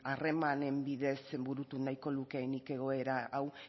harremanen bidez burutu nahiko lukeenik egoera hau